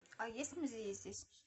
а есть музеи здесь